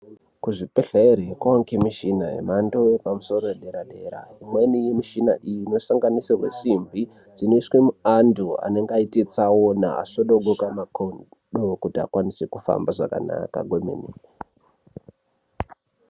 Kuzvibhedhleri konge nemichhina yepadera-dera. Imweni yemichina iyi inosanganisira simbi dzinoiswa muanthu anenge aita tsaona asvokodoka makumbo kuti vakwanise kuhamba zvakanaka kwemene.